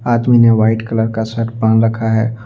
आदमी ने white colour का शर्ट पहन रखा है।